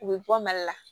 U bɛ bɔ mali la